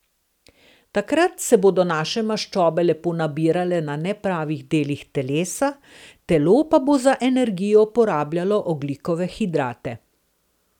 Takrat se bodo naše maščobe lepo nabirale na nepravih delih telesa, telo pa bo za energijo porabljajo ogljikove hidrate.